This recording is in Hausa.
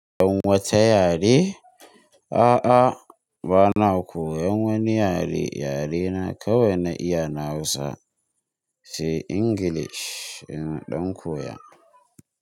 Dan wata yare? A'a bana koyan wani yare, yarena kawai na iya na Hausa, sai Ingilish ina ɗan koya.